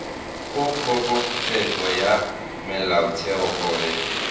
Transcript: go kgorotsheko ya molaotheo gore